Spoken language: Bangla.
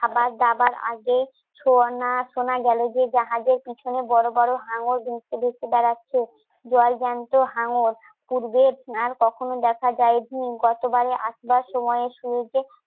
খাবার দাবার আগে শোনা গেল যে জাহাজের পিছনে বড় বড় হাঁঙ্গর বাড়াচ্ছে জল জ্যান্ত, হাঙ্গর, উঠবে, আর কখনো দেখা যায় নি. গতবারে আসবার সময় শুরুতে